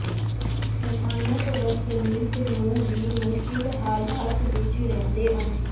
ਸਥਾਨਕ ਵਸਨੀਕ ਨੂੰ ਵੀ ਮੁਸ਼ਕਲ ਹਾਲਾਤ ਵਿਚ ਰਹਿੰਦੇ ਹਨ